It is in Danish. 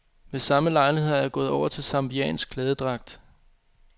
Ved samme lejlighed er jeg gået over til zambiansk klædedragt.